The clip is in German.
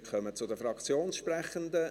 Wir kommen zu den Fraktionssprechenden.